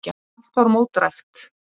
Allt var mótdrægt.